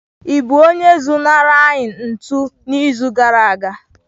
I bụ onye zụnara anyị ntu n'izu gara aga?